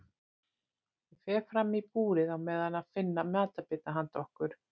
Ég fer fram í búrið á meðan að finna matarbita handa okkur.